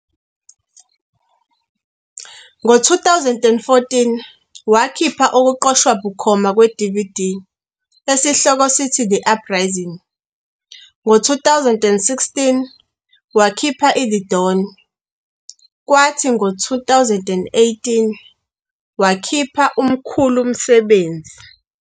Ngo-2014 wakhipha okuqoshwa bukhoma kwe-DVD esihloko sithi "The Uprising."ngo-2016 wakhipha i-The Dawn, kwathi ngo-2018 wakhipha uMkhulumsebenzi.